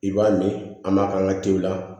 I b'a min an b'a k'an ka tew la